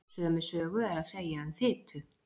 Sömu sögu er að segja um fitu.